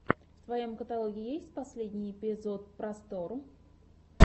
в твоем каталоге есть последний эпизод просторъ